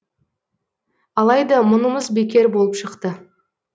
алайда мұнымыз бекер болып шықты